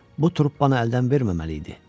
Bu truppanı əldən verməməli idi.